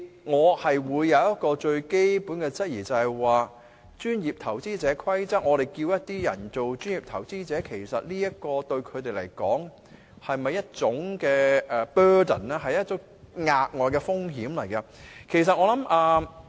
我就有一個最基本的質疑，就是按《規則》，我們叫某些人做專業投資者，其實對他們來說，這是否一種 burden， 是一種額外風險？